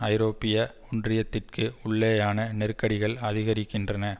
ஐரோப்பிய ஒன்றியத்திற்கு உள்ளேயான நெருக்கடிகள் அதிகரிக்கின்றன